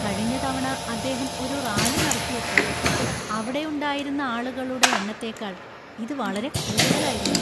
കഴിഞ്ഞ തവണ അദ്ദേഹം ഒരു റാലി നടത്തിയപ്പോൾ അവിടെയുണ്ടായിരുന്ന ആളുകളുടെ എണ്ണത്തേക്കാൾ ഇത് വളരെ കൂടുതലായിരുന്നു.